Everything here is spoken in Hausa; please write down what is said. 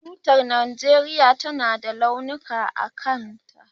Tutar Najeriya tana da launuka a kanta.